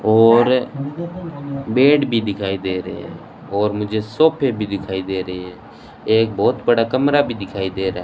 और बेड भी दिखाई दे रहे है और मुझे सोफे भी दिखाई दे रही है एक बहुत बड़ा कमरा भी दिखाई दे रहा है।